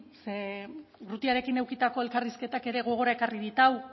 ze urrutiarekin edukitako elkarrizketak ere gogora ekarri dit hau